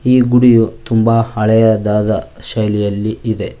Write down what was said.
ಈ ಗುಡಿಯು ತುಂಬ ಹಳೆಯದಾದ ಶೈಲಿಯಲ್ಲಿ ಇದೆ.